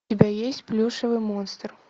у тебя есть плюшевый монстр